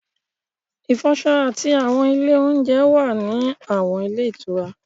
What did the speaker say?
Ìfọṣọ àti àwọn ilé oúnjẹ wà ní àwọn ilé ìtura